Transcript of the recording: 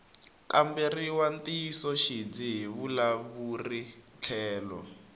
kamberiwa ntiyisoxidzi hi vavulavuri tlhelo